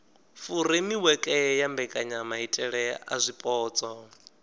furemiweke ya mbekanyamaitele a zwipotso